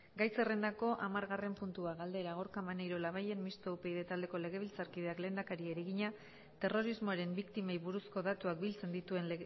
gai zerrendako hamargarren puntua galdera gorka maneiro labayen mistoa upyd taldeko legebiltzarkideak lehendakariari egina terrorismoaren biktimei buruzko datuak biltzen dituen